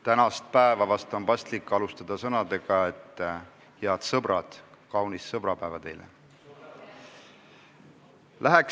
Tänast päeva on vahest paslik alustada sõnadega: head sõbrad, kaunist sõbrapäeva teile!